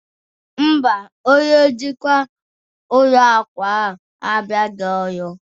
Mba, Onye njikwa ụlọ akụ ahụ abịaghị ọrụ